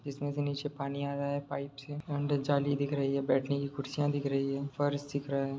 इसमे से नीचे पानी आ रहा है पाइप से अंदर जाली दिख रही है बैठने की कुर्सियां दिख रही है फर्श दिख रहा है ।